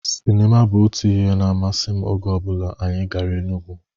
Sinima bụ otu ihe na-amasim oge ọbụla anyị gara Enugwu.